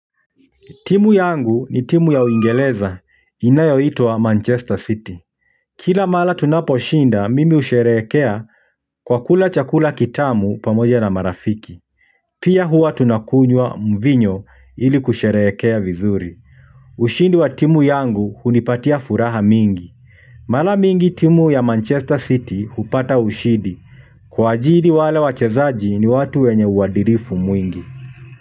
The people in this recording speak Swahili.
Timu yangu, ni timu ya Uingereza inayoitwa Manchester City. Kila mara tunaposhinda, mimi husherehekea, kwa kula chakula kitamu pamoja na marafiki. Pia huwa tunakunywa mvinyo ili kusherehekea vizuri. Ushindi wa timu yangu hunipatia furaha mingi. Mara mingi timu ya Manchester City hupata ushindi. Kwa ajili wale wachezaji ni watu wenye uadilifu mwingi.